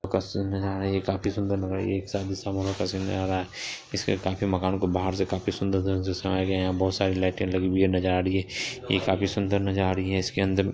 नजारे हैं ये काफी सुन्दर लग रही है ये शादी समारोह का सीन लग रहा है इसके काफी मकान को बाहर से काफी सुन्दर तरीके से सजाया गया है यहाँ बहुत सारे लाइटें लगी हुई हैं नजर आ रही है ये काफी सुंदर नजर आ रही है इसके अंदर --